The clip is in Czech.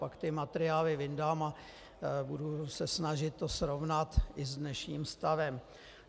Pak ty materiály vyndám a budu se snažit to srovnat i s dnešním stavem.